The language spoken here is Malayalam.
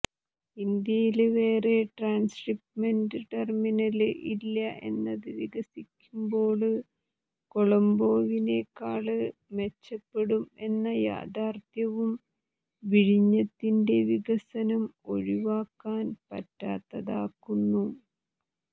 ഇന്ത്യയില് വേറെ ട്രാന്സ്ഷിപ്പ്മെന്റ് ടെര്മിനല് ഇല്ല എന്നത് വികസിക്കുമ്പോള് കൊളംബോവിനെക്കാള് മെച്ചപ്പെടും എന്ന യാഥാര്ത്ഥ്യവും വിഴിഞ്ഞത്തിന്റെ വികസനം ഒഴിവാക്കാന് പറ്റാത്തതാക്കുന്നു